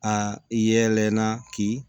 A yɛlɛla k'i